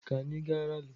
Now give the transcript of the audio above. Ka anyị gaa ralị.